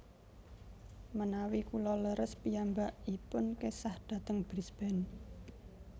Menawi kula leres piyambakipun kesah dhateng Brisbane